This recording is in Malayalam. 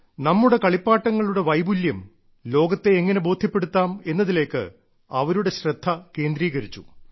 നമ്മുടെ കളിപ്പാട്ടങ്ങളുടെ വൈപുല്യം ലോകത്തെ എങ്ങനെ ബോധ്യപ്പെടുത്താം എന്നതിലേക്ക് അവരുടെ ശ്രദ്ധ കേന്ദ്രീകരിച്ചു